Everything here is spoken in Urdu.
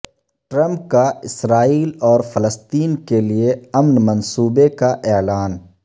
ٹرمپ کا اسرائیل اور فلسطین کیلئے امن منصوبے کا اعلان